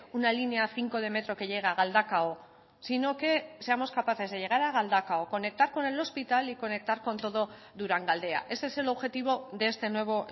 una línea cinco de metro que llega a galdakao sino que seamos capaces de llegar a galdakao conectar con el hospital y conectar con todo durangaldea ese es el objetivo de este nuevo